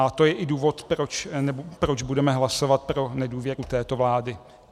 A to je i důvod, proč budeme hlasovat pro nedůvěru této vlády.